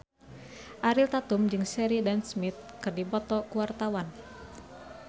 Ariel Tatum jeung Sheridan Smith keur dipoto ku wartawan